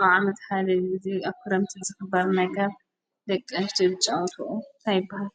ኣብ ዓመት ሓደ ግዜ ኣብ ክረምቲ ዝኽበር ነገር ደቂ ኣንስትዮ ዝጫወትኦ እንታይ ይበሃል?